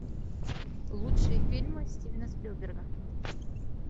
лучшие фильмы стивена спилберга